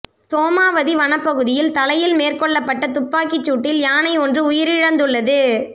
சோமாவதி வனப்பகுதியில் தலையில் மேற்கொள்ளப்பட்ட துப்பாக்கிச் சூட்டில் யானை ஒன்று உயிரிழந்துள்ளது